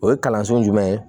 O ye kalanso jumɛn ye